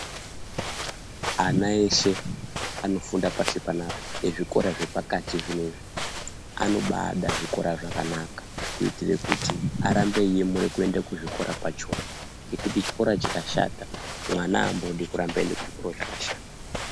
Ana eshe anofunda pashi panapa, ezvikora zvepakati zvinezvi ,anomaada zvikora zvakanaka kuitire kuti arambe eiemura kuenda kuzvikora zvachona, ngekuti chikora chikashata ,mwana aambodi kuramba eiende kuzvikoro zvakashata